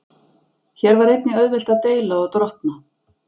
Hér var einnig auðvelt að deila og drottna.